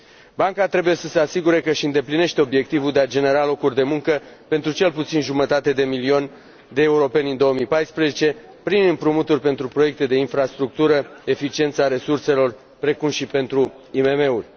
Banca trebuie să se asigure că își îndeplinește obiectivul de a genera locuri de muncă pentru cel puțin o jumătate de milion de europeni în 2014, prin împrumuturi pentru proiecte de infrastructură, pentru eficiența resurselor, precum și pentru IMM uri.